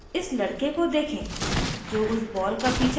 इस लड़के को देखें जो उस ball का पीछा कर रहा है